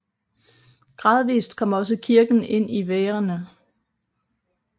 Gradvist kom også kirken ind i værene